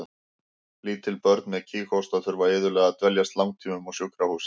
Lítil börn með kíghósta þurfa iðulega að dveljast langtímum á sjúkrahúsi.